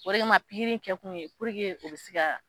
O de kama pigiri in kɛ kun ye puruke o be ga